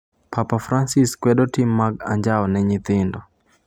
Papa Francis kwedo tim mag anjao ne nyithindo